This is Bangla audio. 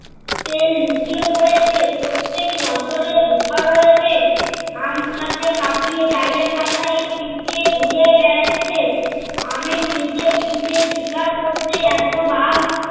লুকিয়ে পরেছে প্রত্যেক বছরে ঝড় হয়েছে। আম টাকে কাটিয়ে ডালে পাতায় পিঁপড়ে ঘুরে বেড়াচ্ছে। আমের নিচে পিঁপড়ে শিকার করতে এত বার